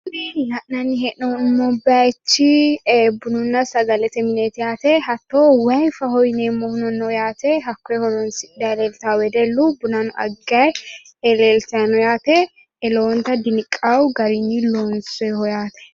La'nanni hee'noommo bayichi bununna sagalete mineeti yaate. Hatto wayifaho yineemmohuno no yaate. Hakkoye horoonsidhayi leeltawo wedellu bunano aggayi leeltayi no yaate. Lowonta diniqawo garinni loonsoyiho yaate.